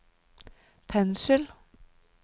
pensel